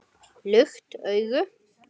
Lukt augu